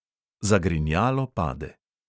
Zagrinjalo pade.